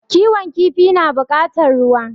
Kiwon kifi na bukatar ruwa